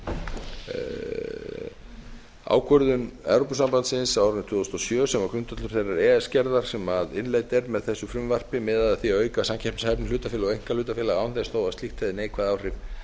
frumvarpinu ákvörðun evrópusambandsins á árinu tvö þúsund og sjö sem var grundvöllur þeirrar e e s gerðar sem innleidd er með þessu frumvarpi miðar að því að auka samkeppnishæfni hlutafélaga og einkahlutafélaga án þess þó að slíkt hefði neikvæð áhrif